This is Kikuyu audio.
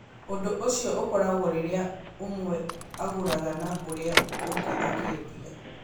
Ũndũ ũcio ũkoragwo rĩrĩa ũmwe agũraga na ũrĩa ũngĩ akĩendia.